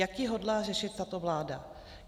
Jak ji hodlá řešit tato vláda?